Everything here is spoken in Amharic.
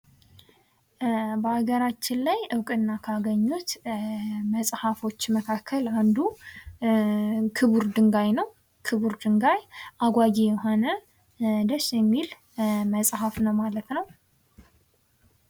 በሀገራችን ላይ እውቁና ካገኙት መፅሐፎች መካከል አንዱ ክቡር ድንጋይ ነው። ክቡር ድንጋይ አጓጊ የሆነ ደስ የሚል መጽሐፍ ነው ማለት ነው።